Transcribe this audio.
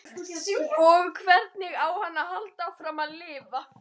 Og hvernig á hann að halda áfram að lifa?